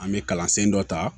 An bɛ kalansɔ ta